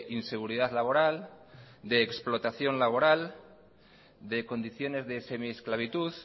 inseguridad laboral de explotación laboral de condiciones de semiesclavitud